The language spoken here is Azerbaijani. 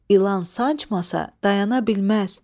İlan sancmasa dayana bilməz.